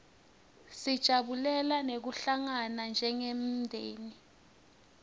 sijabulela nekuhlangana njengemndzeni